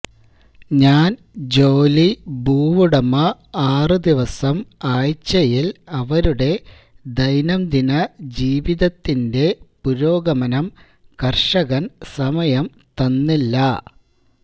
ഞാൻ ജോലി ഭൂവുടമ ആറു ദിവസം ആഴ്ചയിൽ അവരുടെ ദൈനംദിന ജീവിതത്തിന്റെ പുരോഗമനം കർഷകൻ സമയം തന്നില്ല